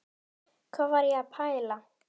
Hvað var ég að pæla?